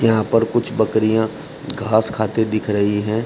यहां पर कुछ बकरियां घास खाते दिख रही है।